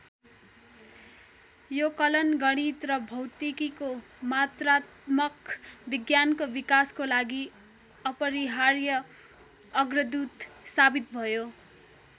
यो कलन गणित र भौतिकीको मात्रात्मक विज्ञानको विकासको लागि अपरिहार्य अग्रदूत साबित भयो।